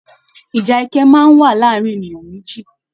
Ìjà ẹkẹ máa n wà láàrín ènìyàn méjì.